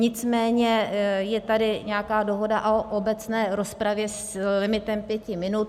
Nicméně je tady nějaká dohoda o obecné rozpravě s limitem pěti minut.